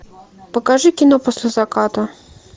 покажи кино после заката